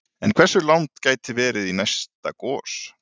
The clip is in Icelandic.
En hversu langt gæti verið í næsta gos?